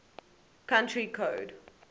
country code